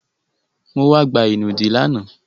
Mo wá gba ìnùdí lánàá.